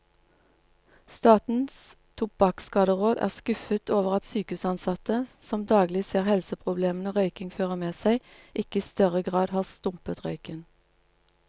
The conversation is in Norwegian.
Statens tobakkskaderåd er skuffet over at sykehusansatte, som daglig ser helseproblemene røykingen fører med seg, ikke i større grad har stumpet røyken.